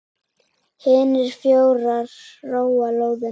Hinir fjórir róa lóðina út.